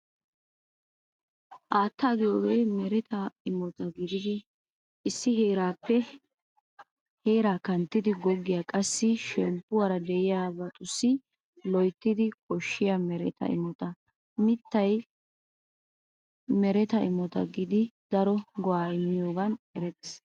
Haattaa giyoogee mereta imota gididi issi heeraappe here kanttidi goggiyaa qassi shemppuwaara de'iyaabatussi loyttidi koshshiyaa mereta imota. Mittay mereta imota gididi daro go"aa immiyoogan eretees.